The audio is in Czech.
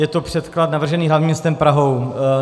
Je to předklad navržený hlavním městem Prahou.